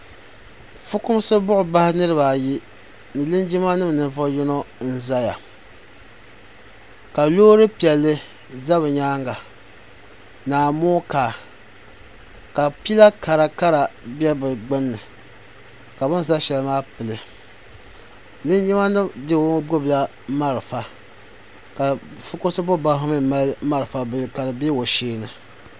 ƒɔkumisi buɣ' bahi niriibaayi ni linjima nim nivuɣ yino n zaya ka lori piɛli za be nyɛŋa n amokaa ka pɛla kari bɛ be gbani ka bɛn za shɛli maa pɛli linjima nim do ŋɔ gbabila mariƒɔ ka ƒɔkumisi buɣ' bahi ŋɔ mi mali mariƒɔ bila ka di bɛ o shɛɛni